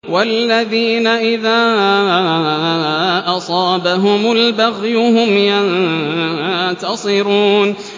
وَالَّذِينَ إِذَا أَصَابَهُمُ الْبَغْيُ هُمْ يَنتَصِرُونَ